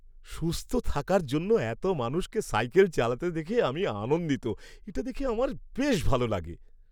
সুস্থ থাকার জন্য এত মানুষকে সাইকেল চালাতে দেখে আমি আনন্দিত। এটা দেখে আমার বেশ ভালো লাগে।